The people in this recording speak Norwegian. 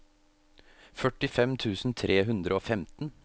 førtifem tusen tre hundre og femten